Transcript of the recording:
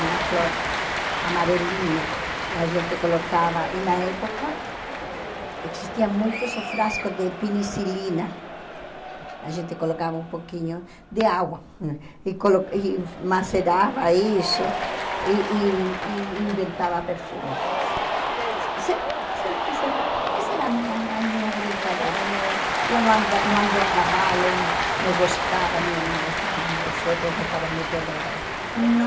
uma flor amarelinha a gente colocava e na época existia muitos frascos de penicilina a gente colocava um pouquinho de água e colo e macerava isso e e e inventava perfumes sempre, sempre, sempre essa era minha mais minha brincadeira não eu não anda não andei a cavalo não gostava, minha irmã gostava nós outros gostávamos muito de andar a cavalo não